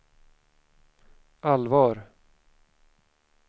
allvar